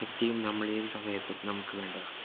ശക്തിയും നമ്മൾ ഏത് സമയത്തും നമുക്ക് വേണ്ടതാണ്